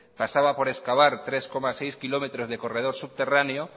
pasaba por excavar tres coma seis kilómetros de corredor subterráneo